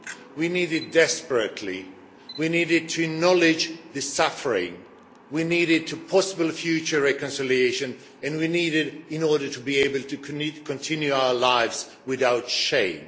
We need it desperately. We need it to acknowledge the suffering. We need it for possible future reconciliation, and we need in order to be able to continue our lives without shame.